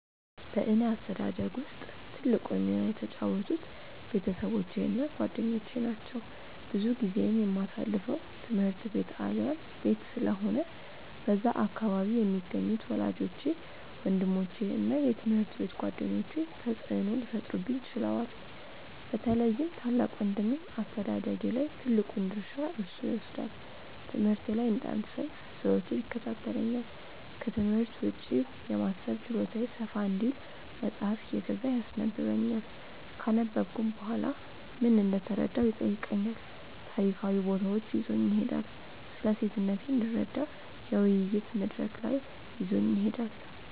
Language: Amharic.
በእኔ አስተዳደግ ውስጥ ትልቁን ሚና የተጫወቱት ቤተሰቦቼ እና ጓደኞቼ ናቸው። ብዙ ጊዜዬን የማሳልፈው ትምህርት ቤት አሊያም ቤት ስለሆነ በዛ አካባቢ የሚገኙት ወላጆቼ፤ ወንድሞቼ እና የትምሀርት ቤት ጓደኞቼ ተጽእኖ ሊፈጥሩብኝ ችለዋል። በተለይም ታላቅ ወንድሜ አስተዳደጌ ላይ ትልቁን ድርሻ እርሱ ይወስዳል። ትምህርቴ ላይ እንዳልሰንፍ ዘወትር ይከታተለኛል፤ ክትምህርት ውጪ የማሰብ ችሎታዬ ሰፋ እንዲል መጽሃፍ እየገዛ ያስነበብኛል፤ ካነበብኩም በኋላ ምን እንደተረዳሁ ይጠይቀኛል፤ ታሪካዊ ቦታዎች ይዞኝ ይሄዳል፤ ስለሴትነቴ እንድረዳ የውይይት መድረክ ላይ ይዞኝ ይሄዳል።